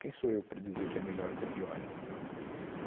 Quem sou eu para dizer que é melhor ou que é pior, entendeu?